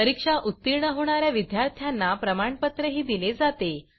परीक्षा उत्तीर्ण होणा या विद्यार्थ्यांना प्रमाणपत्रही दिले जाते